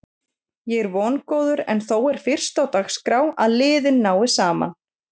Ég er vongóður en þó er fyrst á dagskrá að liðin nái saman.